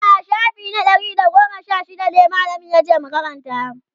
a'a shafi na Ɗari da goma Sha shida mallamin yace mu Karanta